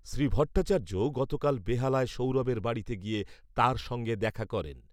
শ্রী ভট্টাচার্য গতকাল বেহালায় সৌরভের বাড়িতে গিয়ে তাঁর সঙ্গে দেখা করেন।